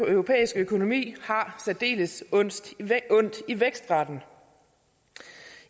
europæiske økonomi har særdeles ondt i vækstraten